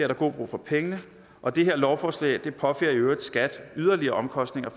der god brug for pengene og det her lovforslag påfører i øvrigt skat yderligere omkostninger